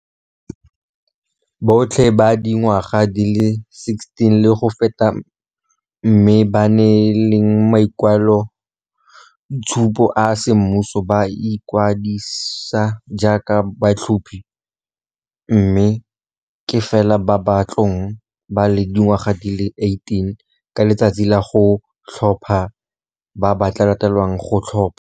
Botlhe ba ba dingwaga di le 16 le go feta mme ba na leng makwaloitshupo a semmuso ba ka ikwadisa jaaka batlhophi, mme ke fela ba ba tla bong ba le dingwaga di le 18 ka letsatsi la go tlhopha ba ba tla letlelelwang go tlhopha.